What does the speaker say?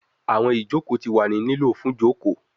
Awọn ijoko ti wa ni lilo fun joko